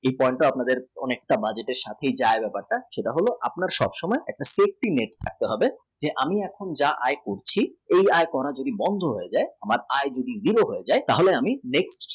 এই point টা আপনাদের সব সময় একটা safety net থাকতে হবে যে আমি যে আয় করছি কোনো দিন বন্ধ হয়ে যায় আমার আয় zero হয়ে যায়